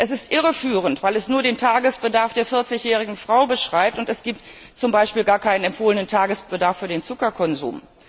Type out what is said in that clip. Es ist irreführend, weil es nur den Tagesbedarf der 40 jährigen Frau beschreibt, und es gibt beispielsweise überhaupt keinen empfohlenen Tagesbedarf für den Zuckerkonsum.